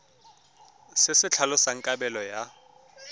se se tlhalosang kabelo ya